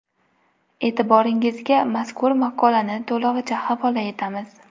E’tiboringizga mazkur maqolani to‘lig‘icha havola etamiz.